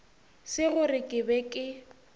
se gore ke be ke